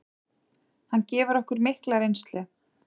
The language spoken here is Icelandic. Hann gefur okkur mikla reynslu.